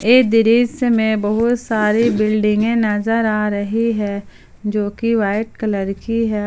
ये दृश्य में बहुत सारी बिल्डिंगे नजर आ रही है जो की वाइट कलर की है।